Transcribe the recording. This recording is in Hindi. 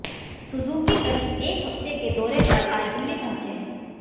सुजूकी करीब एक हफ्ते के दौरे पर आज दिल्ली पहुंचे हैं